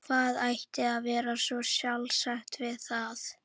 Hvað ætti að vera svo sjálfsagt við það?